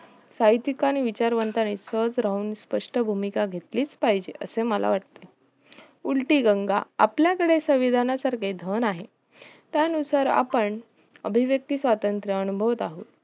साहित्यकांनी आणि विचारवंतांनी खच राहून स्पष्ट भूमिका घेतलीच पाहिजे असे मला वाटते उलटी गंगा आपल्याकडे संविधान सारखे धन आहे त्या नुसार आपण अभिव्क्यत स्वतंत्र अनुभवः